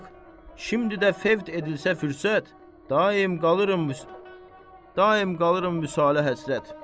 Bax, şimdi də fəvd edilsə fürsət, daima qalıram, daima qalıram Vüsalə həsrət.